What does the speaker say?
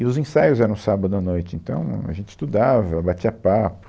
E os ensaios eram sábado à noite, então, ahm, a gente estudava, batia papo.